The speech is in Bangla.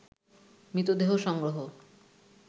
মৃতদেহ সংগ্রহ